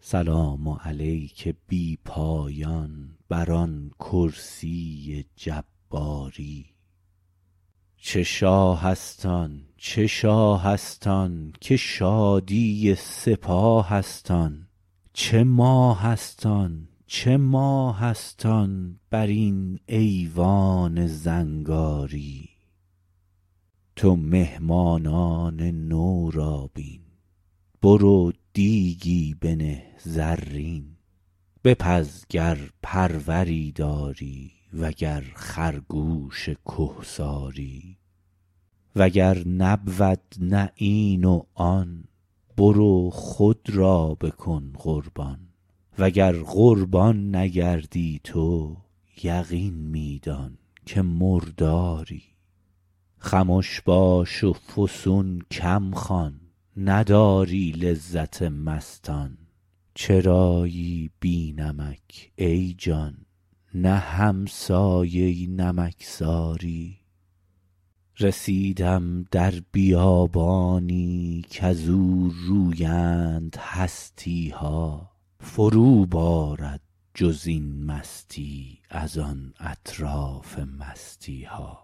سلام علیک بی پایان بر آن کرسی جباری چه شاهست آن چه شاهست آن که شادی سپاهست آن چه ماهست آن چه ماهست آن برین ایوان زنگاری تو مهمانان نو را بین برو دیگی بنه زرین بپز گر پروری داری وگر خرگوش کهساری وگر نبود این و آن برو خود را بکن قربان وگر قربان نگردی تو یقین می دان که مرداری خمش باش و فسون کم خوان نداری لذت مستان چرایی بی نمک ای جان نه همسایه نمکساری رسیدم در بیابانی کزو رویند هستیها فرو بارد جزین مستی از آن اطراف مستیها